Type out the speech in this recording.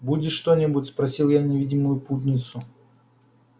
будешь что-нибудь спросил я невидимую путницу